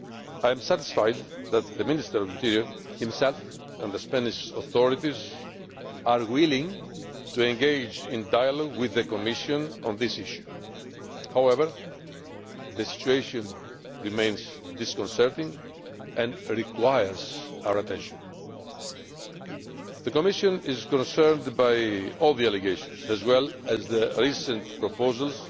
I am satisfied that the Minister of the Interior himself and the Spanish authorities are willing to engage in dialogue with the Commission on this issue. However, the situation remains disconcerting and requires our attention. The Commission is concerned by all the allegations as well as the recent proposals